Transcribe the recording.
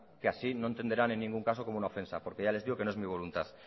que así no entenderán en ningún caso como una ofensa porque ya les digo que no es mi voluntad